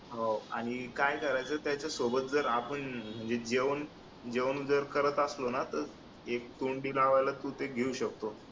हो काय करायचं त्याच्या सोबत जर आपण जेवून जेवण जर करत असलो ना तर ते तोंडी लावायला घेऊ शकतो.